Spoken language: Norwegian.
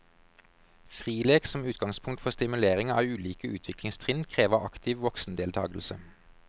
Frilek som utgangspunkt for stimulering av ulike utviklingstrinn krever aktiv voksendeltakelse.